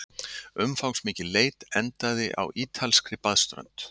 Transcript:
Umfangsmikil leit endaði á ítalskri baðströnd